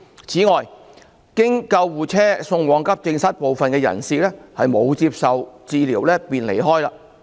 此外，經救護車送往急症室的部分人士沒有接受診治便離開。